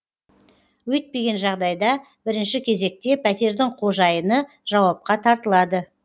өйтпеген жағдайда бірінші кезекте пәтердің қожайыны жауапқа тартылады